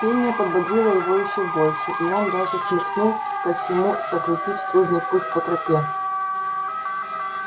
пение подбодрило его ещё больше и он даже смекнул как ему сократить трудный путь по тропе